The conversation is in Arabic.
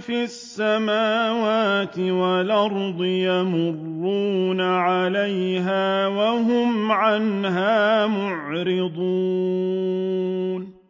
فِي السَّمَاوَاتِ وَالْأَرْضِ يَمُرُّونَ عَلَيْهَا وَهُمْ عَنْهَا مُعْرِضُونَ